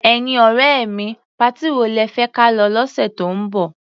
Ẹ̀yin ọ̀rẹ́ mi, patí wo lẹ fẹ́ ka lọ lọ́sẹ̀ tó ń bọ̀?